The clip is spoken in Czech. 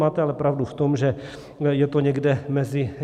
Máte ale pravdu v tom, že je to někde mezi...